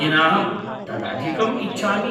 येनाहम् तदधिकम् इच्छामि।